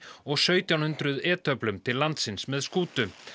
og sautján hundruð e töflum til landsins með skútu